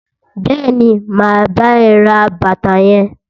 Bẹẹni, ma bá ẹ ra bàtà yẹn.